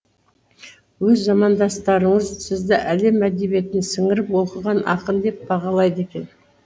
өз замандастарыңыз сізді әлем әдебиетін сіңіріп оқыған ақын деп бағалайды екен